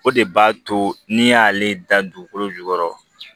O de b'a to ni y'ale da dugukolo jukɔrɔ